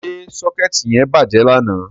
Ṣé sọ́kẹ́ẹ̀tì yẹn bàjẹ́ lánàá.?